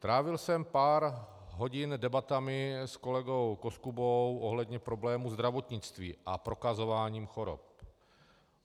Trávil jsem pár hodin debatami s kolegou Koskubou ohledně problému zdravotnictví a prokazování chorob.